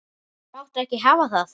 Máttu ekki hafa það.